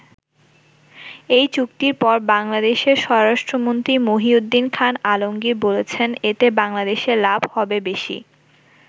এই চুক্তির পর বাংলাদেশের স্বরাষ্ট্রমন্ত্রী মহীউদ্দীন খান আলমগীর বলছেন এতে বাংলাদেশের লাভ হবে বেশি।